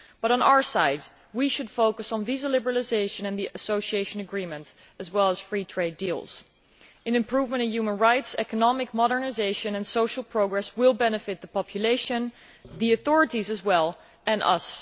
On our side, we should focus on visa liberalisation and the association agreement as well as free trade deals. Improvements in human rights, economic modernisation and social progress will benefit the population as well as the authorities, and us.